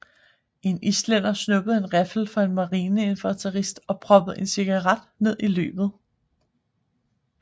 En islænder snuppede en riffel fra en marineinfanterist og proppede en cigaret ned i løbet